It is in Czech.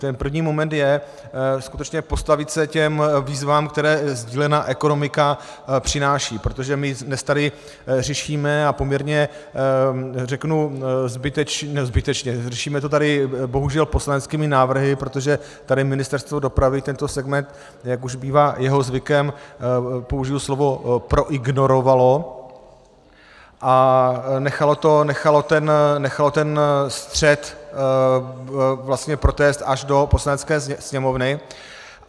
Ten první moment je skutečně postavit se těm výzvám, které sdílená ekonomika přináší, protože my dnes tady řešíme, a poměrně řeknu zbytečně, řešíme to tady bohužel poslaneckými návrhy, protože tady Ministerstvo dopravy tento segment, jak už bývá jeho zvykem, použiji slovo proignorovalo a nechalo ten střed vlastně protéct až do Poslanecké sněmovny.